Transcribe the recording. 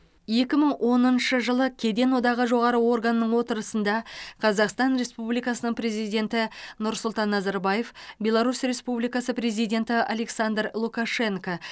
екі мың оныншы жылы кеден одағы жоғары органының отырысында қазақстан республикасының президенті нұрсұлтан назарбаев беларусь республикасы президенті александр лукашенко